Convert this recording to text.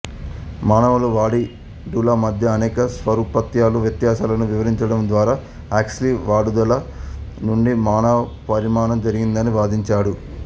మానవులు వాలిడుల మధ్య అనేక సారూప్యతలు వ్యత్యాసాలను వివరించడం ద్వారా హక్స్లీ వాలిడుల నుండి మానవ పరిణామం జరిగిందని వాదించాడు